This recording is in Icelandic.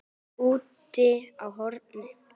Úti á horni.